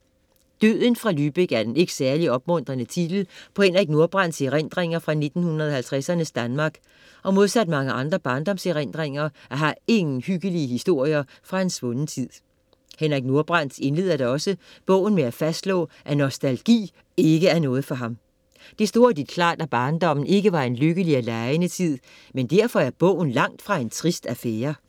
Døden fra Lübeck er den ikke særlig opmuntrende titel på Henrik Nordbrandts erindringer fra 1950ernes Danmark og modsat mange andre barndomserindringer, er her ingen hyggelige historier fra en svunden tid. Henrik Nordbrandt indleder da også bogen med at fastslå, at nostalgi ikke er noget for ham. Det står hurtigt klart, at barndommen ikke var en lykkelig og legende tid, men derfor er bogen langt fra en trist affære.